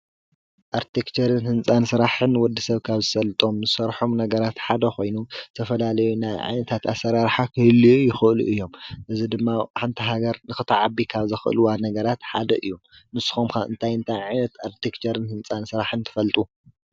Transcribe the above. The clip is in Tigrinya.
ኣርክቴክቸርን ህንፃን ስራሕን ወድሰብ ካብ ዝሰልጦም እንሰርሖም ነገራት ሓደ ኮይኑ ዝተፈላለዩ ናይ ዓይነታት አሰራርሓ ክህልዩ ይክእሉ እዮም። እዚ ድማ ሓንቲ ሃገር ንክትዓቢ ካብ ዘክእልዋ ነገራት ሓደ እዩ። ንስኩም ከ እንታይ እንታይ ዓይነት ኣርክቴክቸርን ህንፃን ሰራሕን ትፈልጡ ?